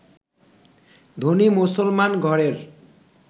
ধনী মুসলমান ঘরের